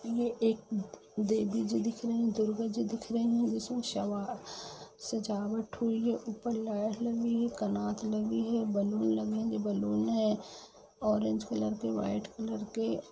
ये एक द देविजी दिख रही है दुर्गाजी दिख रही जिसमे श सजावट हुई है उपर लाइट लगी है कनात लगी है बैलून लगे है ये बैलून है ऑरेंज कलर के वाईट कलर के।